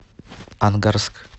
ангарск